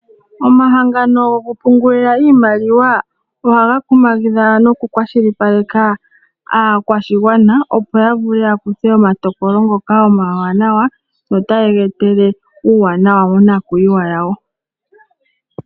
Omahangano goku pungula iimaliwa ohaga kumagidha noku kwashilipaleka aakwashigwana opo yavule yakuthe omatokolo ngoka omawanawa go otaga ye etele uuwanawa mo nakuyiwa yawo